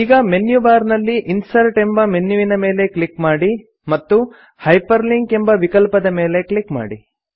ಈಗ menu bar ನಲ್ಲಿ insert ಎಂಬ ಮೆನ್ಯುವಿನ ಮೇಲೆ ಕ್ಲಿಕ್ ಮಾಡಿ ಮತ್ತು ಹೈಪರ್ಲಿಂಕ್ ಎಂಬ ವಿಕಲ್ಪದ ಮೇಲೆ ಕ್ಲಿಕ್ ಮಾಡಿ